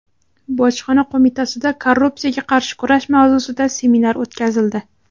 Bojxona qo‘mitasida korrupsiyaga qarshi kurash mavzusida seminar o‘tkazildi.